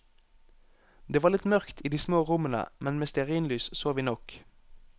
Det var litt mørkt i de små rommene, men med stearinlys så vi nok.